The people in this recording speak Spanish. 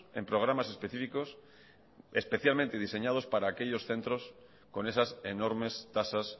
en programas específicos especialmente diseñados para aquellos centros con esas enormes tasas